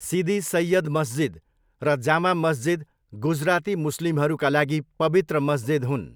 सिदी सैय्यद मस्जिद र जामा मस्जिद गुजराती मुस्लिमहरूका लागि पवित्र मस्जिद हुन्।